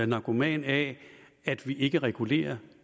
narkoman af at vi ikke regulerer